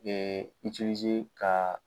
Ee ka.